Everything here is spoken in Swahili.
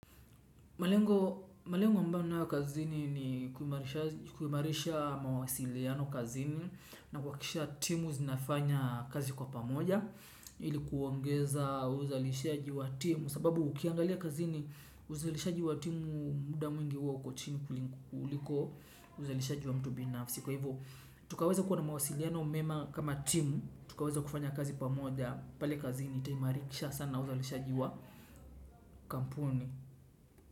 Malengo ambayo nayo kazini ni kumarisha mawasiliano kazini na kukisha timu zinafanya kazi kwa pamoja ilikuongeza uzalishaji wa timu sababu ukiangalia kazini uzalishaji wa timu muda mwingi uwa ukochini kuliko uzalishaji wa mtu binafsi. Kwa hivyo tukaweza kuwa na mawasiliano umema kama timu tukaweza kufanya kazi pamoja pale kazini itaimarikisha sana uzalishaji wa kampuni.